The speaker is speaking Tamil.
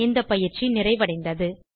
இந்தப் பயிற்சி நிறைவடைந்தது